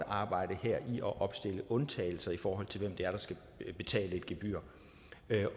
arbejde med at opstille undtagelser i forhold til hvem det er der skal betale et gebyr